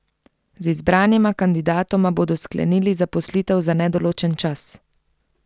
Z izbranima kandidatoma bodo sklenili zaposlitev za nedoločen čas.